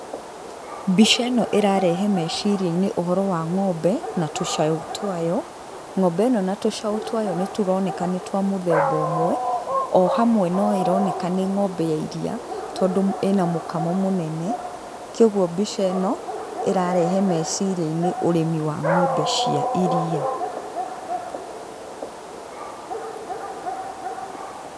Mbica ĩno ĩrarehe meciriainĩ, ũhoro wa ng'ombe na tũcaũ twayo, ng'ombe ĩno na tũcaũ twayo nĩtũroneka nĩ twa mũthemba ũmwe, o hamwe no ĩroneka nĩ ng'ombe ya iria, tondũ ĩna mũkamo mũnene, koguo mbica ĩno, ĩrarehe meciriainĩ ũrĩmi wa ng'ombe cia iriia.